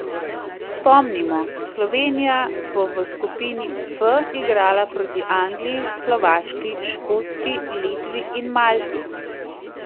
Spomnimo, Slovenija bo v skupini F igrala proti Angliji, Slovaški, Škotski, Litvi in Malti.